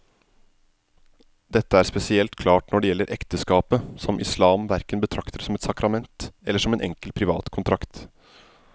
Dette er spesielt klart når det gjelder ekteskapet, som islam hverken betrakter som et sakrament eller som en enkel privat kontrakt.